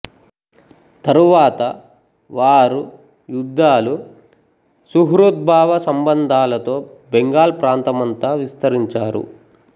తరువాత వారు యుద్ధాలు సుహృద్భావ సంబంధాలతో బెంగాల్ ప్రాంతమంతా విస్తరించారు